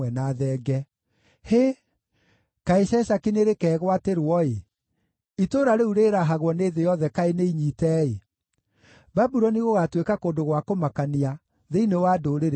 “Hĩ, kaĩ Sheshaki nĩrĩkeegwatĩrwo-ĩ, itũũra rĩu rĩĩrahagwo nĩ thĩ yothe kaĩ nĩinyiite-ĩ! Babuloni gũgaatuĩka kũndũ gwa kũmakania thĩinĩ wa ndũrĩrĩ ciothe!